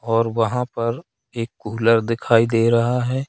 और वहां पर एक कुलर दिखाई दे रहा है।